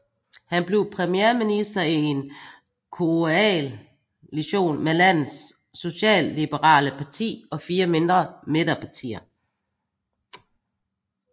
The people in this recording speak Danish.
Han blev premierminister i en koaltion med landets socialliberale parti og fire mindre midterpartier